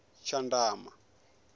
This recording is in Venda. tshandama